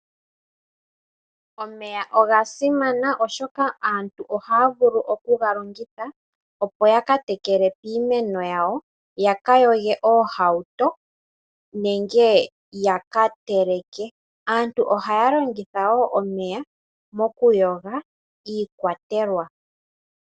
Omeya oga simana oshoka aatu ohaya vulu okuga longitha opo ya ka tekele piimeno yawo, ya ka yoge oohauto nenge ya ka teleke. Aantu oha ya longitha wo omeya mokuyoga iikwatelwa.